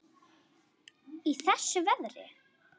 Í þessu veðri?